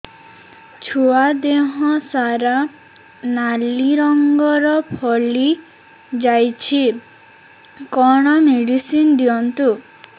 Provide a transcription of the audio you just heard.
ଛୁଆ ଦେହ ସାରା ନାଲି ରଙ୍ଗର ଫଳି ଯାଇଛି କଣ ମେଡିସିନ ଦିଅନ୍ତୁ